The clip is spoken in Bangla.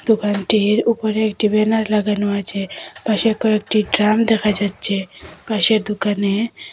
দোকানটির ওপরে একটি ব্যানার লাগানো আছে পাশে কয়েকটি ড্রাম দেখা যাচ্ছে পাশে দোকানে।